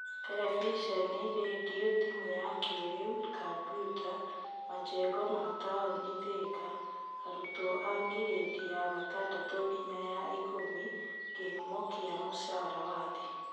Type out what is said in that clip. Terebiceni, rendio, thimũ ya kĩĩrĩu, Kambiuta, majengo ma taũni Thika; arutwo a girĩndi ya gatandatũ nginya ya ikũmi, kĩhumo kĩa mũcara wa thĩ.